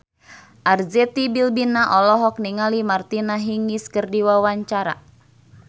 Arzetti Bilbina olohok ningali Martina Hingis keur diwawancara